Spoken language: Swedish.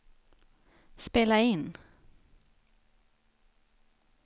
spela in